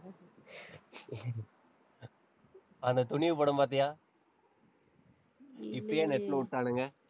அந்த துணிவு படம் பார்த்தியா இப்பயே net ல விட்டானுங்க.